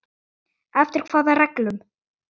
Eftir hvaða reglum?